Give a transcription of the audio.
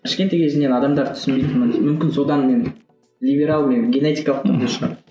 кішкентай кезімнен адамдарды түсінбейтінмін мүмкін содан мен либерал мен генетикалық түрде шығар